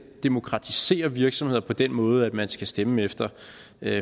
demokratisere virksomheder på den måde at man skal stemmer efter